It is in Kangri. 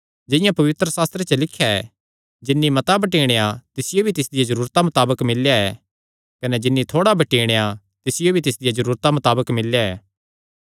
जिंआं पवित्रशास्त्रे च लिख्या ऐ जिन्नी मता बटीणेया तिसियो भी तिसदिया जरूरता मताबक मिल्लेया ऐ कने जिन्नी थोड़ा बटीणेया तिसियो भी तिसदिया जरूरता मताबक मिल्लेया ऐ